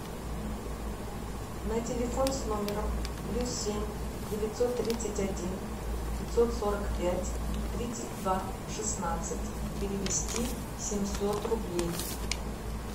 на телефон с номером плюс семь девятьсот тридцать один пятьсот сорок пять тридцать два шестнадцать перевести семьсот рублей